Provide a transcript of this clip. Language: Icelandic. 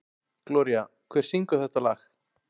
Gloría, hver syngur þetta lag?